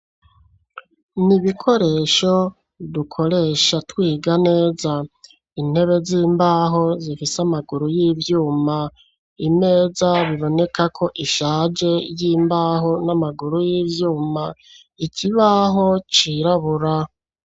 Ni ibikoresho dukoresha twiga neza intebe z'imbaho zifise amaguru y'ivyuma, imeza biboneka ko ishaje y'imbaho n'amaguru y'ivyuma, ikibaho cirabura.